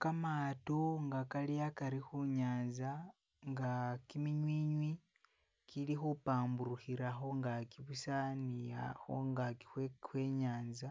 kamaato nga kali akari hunyanza, nga kiminywinywi upambulihira hungaki busa ni a hungaki hwe nyanza